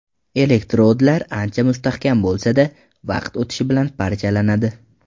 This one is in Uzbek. Elektrodlar ancha mustahkam bo‘lsa-da, vaqt o‘tishi bilan parchalanadi.